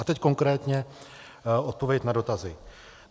A teď konkrétně odpověď na dotazy.